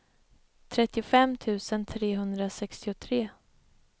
trettiofem tusen trehundrasextiotre